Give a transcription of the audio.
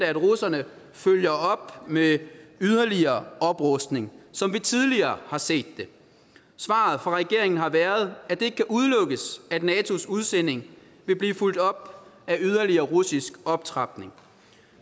at russerne følger op med yderligere oprustning som vi tidligere har set det svaret fra regeringen har været at det ikke kan udelukkes at natos udsending vil blive fulgt op af yderligere russisk optrapning